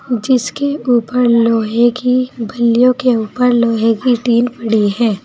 जिसके ऊपर लोहे की बल्लियों के ऊपर लोहे की टीन पड़ी है।